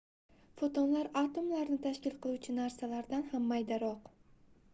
fotonlar atomlarni tashkil qiluvchi narsalardan ham maydaroq